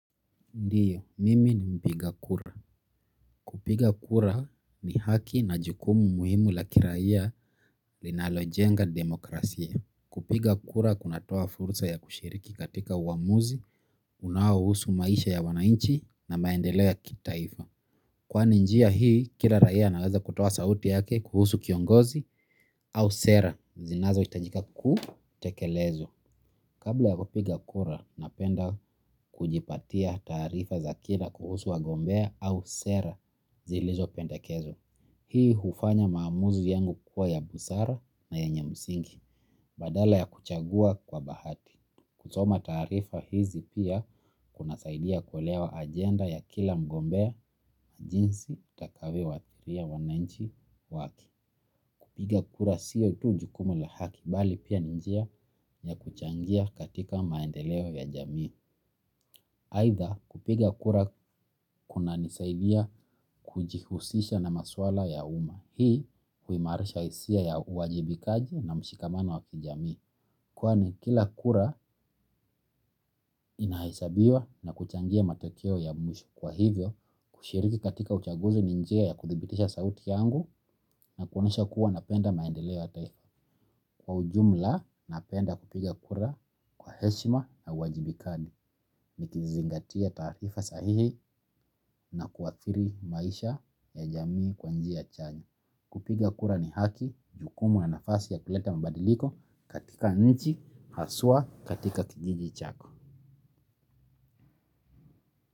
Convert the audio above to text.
Ndiyo, mimi ni mpiga kura. Kupiga kura ni haki na jukumu muhimu la kiraiya linalojenga demokrasia. Kupiga kura kunatoa fursa ya kushiriki katika uamuzi, unao husu maisha ya wananchi na maendelea kitaifa. Kwani njia hii, kila raiya anaweza kutoa sauti yake kuhusu kiongozi au sera. Zinazo hitajika kutekelezwa. Kabla ya kupiga kura napenda kujipatia taarifa za kila kuhusu wa gombea au sera zilizo pendekezwa. Hii hufanya maamuzi yangu kuwa ya busara na yenye msingi badala ya kuchagua kwa bahati. Kusoma taarifa hizi pia kuna saidia kuelewa agenda ya kila mgombea jinsi takavyo wathiria wananchi wake. Kupiga kura sio tu jukumu la haki, bali pia ni njia ya kuchangia katika maendeleo ya jamii. Haitha kupiga kura kuna nisaidia kujihusisha na maswala ya uma. Hii kuimarisha hisia ya uwajibikaji na mshikamano waki jamii. Kwani kila kura inahesabiwa na kuchangia matokeo ya mwisho kwa hivyo, kushiriki katika uchaguzi ni njia ya kuthibitisha sauti yangu, na kuonesha kuwa napenda maendeleo ya taifa kwa ujumla napenda kupiga kura kwa heshima na uwajibikadi ni kizingatia taarifa sahihi na kuathiri maisha ya jamii kwanjiaa chanya kupiga kura ni haki, jukumu na nafasi ya kuleta mabadiliko katika nchi, haswa katika kijiji chako.